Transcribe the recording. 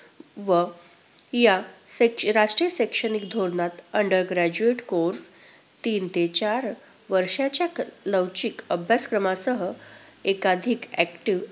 व या शैक~राष्ट्रीय शैक्षणिक धोरणात under graduate course तीन ते चार वर्षाच्या लवचिक अभ्यासक्रमासह एकाधिक active.